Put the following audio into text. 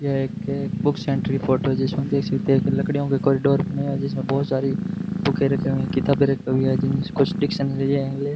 ये एक book centre की फोटो है जिसमें देख सकते हैं की लकड़ीयों के कॉरिडोर बने हुए है जिसमें बहोत सारी बुके रखीं हुई है किताबें रखीं हुई है जिनमें से कुछ डिक्शनरी है इंग्लि --